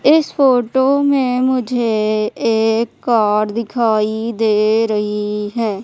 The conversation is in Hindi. इस फोटो में मुझे एक कार दिखाई दे रही है।